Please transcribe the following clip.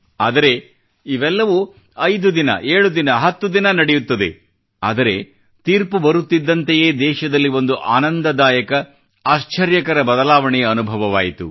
ಆದರೆ ಇವೆಲ್ಲವೂ ಐದು ದಿನ ಏಳು ದಿನ ಹತ್ತು ದಿನ ನಡೆಯುತ್ತದೆ ಆದರೆ ತೀರ್ಪು ಬರುತ್ತಿದ್ದಂತೆಯೇ ದೇಶದಲ್ಲಿ ಒಂದು ಆನಂದದಾಯಕ ಆಶ್ಚರ್ಯಕರ ಬದಲಾವಣೆಯ ಅನುಭವವಾಯಿತು